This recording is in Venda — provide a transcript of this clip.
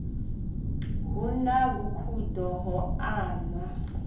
hu na vhukhudo ho anwa